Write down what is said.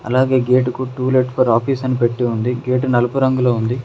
అలాగే గేట్ గుర్తు to let for office అని పెట్టి ఉంది గేట్ నలుపు రంగులో ఉంది.